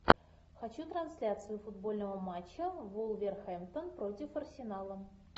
хочу трансляцию футбольного матча вулверхэмптон против арсенала